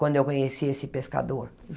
Quando eu conheci esse pescador.